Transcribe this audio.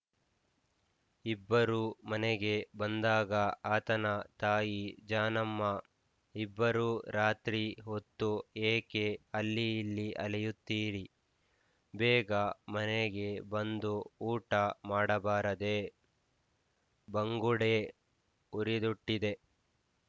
ಇಬ್ಬರೂ ಮನೆಗೆ ಬಂದಾಗ ಆತನ ತಾಯಿ ಜಾನಮ್ಮ ಇಬ್ಬರೂ ರಾತ್ರಿ ಹೊತ್ತು ಏಕೆ ಅಲ್ಲಿ ಇಲ್ಲಿ ಅಲೆಯುತ್ತೀರಿ ಬೇಗ ಮನೆಗೆ ಬಂದು ಊಟ ಮಾಡಬಾರದೇ ಬಂಗುಡೆ ಹುರಿದುಟ್ಟಿದ್ದೆ